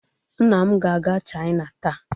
nna m ga-aga china taa.